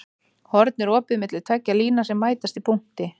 Horn er opið milli tveggja lína sem mætast í punkti.